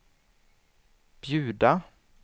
bjuda